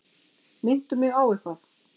Minntu mig á eitthvað.